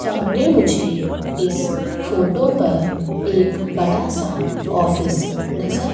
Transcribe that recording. सामने मुझे इस फोटो पर एक बड़ा सा ऑफिस नजर--